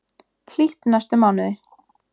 Hlýtt næstu mánuði